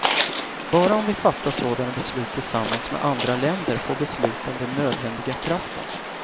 Bara om vi fattar sådana beslut tillsammans med andra länder får besluten den nödvändiga kraften.